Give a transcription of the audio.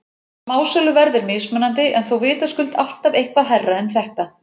Smásöluverð er mismunandi en þó vitaskuld alltaf eitthvað hærra en þetta.